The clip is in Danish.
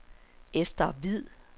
Esther Hviid